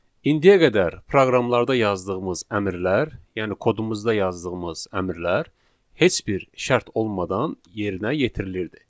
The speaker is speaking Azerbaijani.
İndiyə qədər proqramlarda yazdığımız əmrlər, yəni kodumuzda yazdığımız əmrlər heç bir şərt olmadan yerinə yetirilirdi.